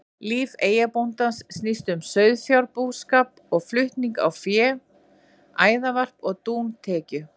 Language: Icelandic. Líf eyjabóndans snýst um sauðfjárbúskap og flutning á fé, æðarvarp og dúntekju.